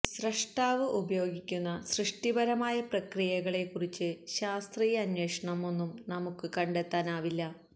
സ്രഷ്ടാവ് ഉപയോഗിക്കുന്ന സൃഷ്ടിപരമായ പ്രക്രിയകളെക്കുറിച്ച് ശാസ്ത്രീയ അന്വേഷണം ഒന്നും നമുക്ക് കണ്ടെത്താനാവില്ല